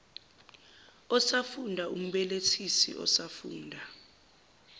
osafunda umbelethisi osafunda